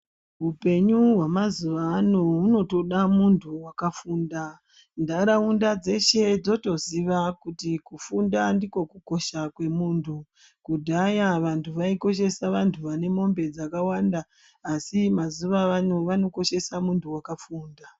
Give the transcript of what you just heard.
Hupenyu hwe mazuva ano huno toda nuntu waka funda ndaraunda dzeshe dzotoziva kuti kufunda ndiko kukosha kwe muntu kudhaya vantu vai koshesa vantu vane mombe dzakawanda asi mazuva avano koshesa muntu wakafunda.